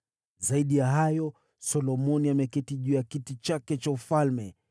Zaidi ya hayo, Solomoni ameketi juu ya kiti chake cha ufalme.